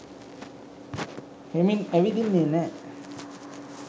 හෙමින් ඇවිදින්නේ නෑ.